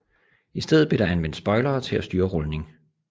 I stedet blev der anvendt spoilere til at styre rulning